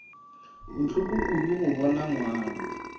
bohloko kudu go bona ngwana